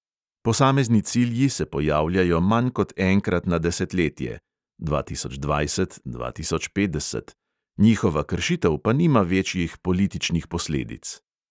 Posamezni cilji se pojavljajo manj kot enkrat na desetletje (dva tisoč dvajset, dva tisoč petdeset), njihova kršitev pa nima večjih političnih posledic.